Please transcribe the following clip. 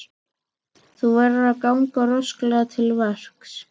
Þú verður að ganga rösklega til verks.